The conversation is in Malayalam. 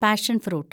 പാഷന്‍ ഫ്രൂട്ട്